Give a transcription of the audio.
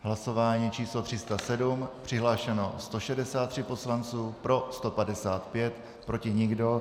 Hlasování číslo 307, přihlášeno 163 poslanců, pro 155, proti nikdo.